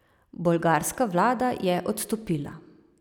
Bolgarska vlada je odstopila.